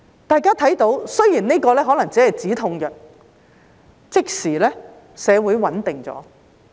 大家看到，雖然《香港國安法》可能只是止痛藥，但即時令社會穩定了。